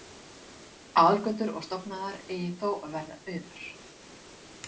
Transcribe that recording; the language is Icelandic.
Aðalgötur og stofnæðar eigi þó að vera auðar.